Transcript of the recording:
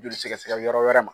Joli sɛgɛsɛgɛ yɔrɔ wɛrɛ ma.